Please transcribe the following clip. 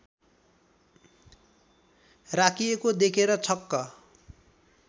राखिएको देखेर छक्क